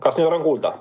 Kas nüüd olen kuulda?